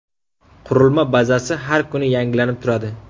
Qurilma bazasi har kuni yangilanib turadi.